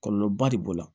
Kɔlɔlɔba de b'o la